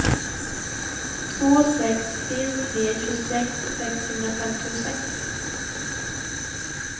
två sex tre tre tjugosex sexhundrafemtiosex